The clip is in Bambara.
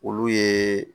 Olu ye